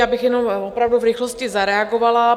Já bych jenom opravdu v rychlosti zareagovala.